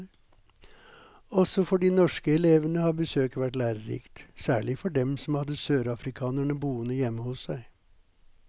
Også for de norske elevene har besøket vært lærerikt, særlig for dem som hadde sørafrikanerne boende hjemme hos seg.